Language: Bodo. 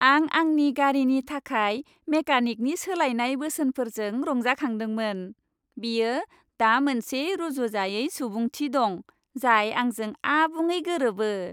आं आंनि गारिनि थाखाय मेकानिकनि सोलायनाय बोसोनफोरजों रंजाखांदोंमोन। बेयो दा मोनसे रुजुजायै सुबुंथि दं, जाय आंजों आबुङै गोरोबो।